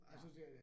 Ja